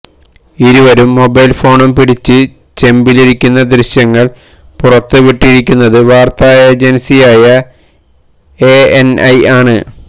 ഇരുവരും മൊബൈല് ഫോണും പിടിച്ച് ചെമ്പിലിരിക്കുന്ന ദൃശ്യങ്ങള് പുറത്തുവിട്ടിരിക്കുന്നത് വാര്ത്ത ഏജന്സിയായ എഎന്ഐ ആണ്